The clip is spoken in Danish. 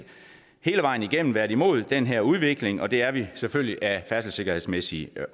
hele vejen igennem været imod den her udvikling og det er vi selvfølgelig af færdselssikkerhedsmæssige